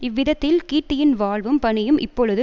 இவ்விதத்தில் கீர்த்தியின் வாழ்வும் பணியும் இப்பொழுது